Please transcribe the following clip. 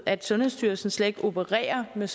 at sundhedsstyrelsen slet ikke opererer med